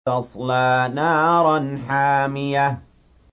تَصْلَىٰ نَارًا حَامِيَةً